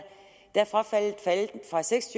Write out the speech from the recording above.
faldet fra seks